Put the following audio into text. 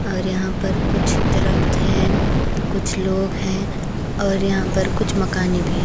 और यहाँ पर कुछ दरख्त हैं कुछ लोग हैं और यहाँ पर कुछ मकानें भी हैं।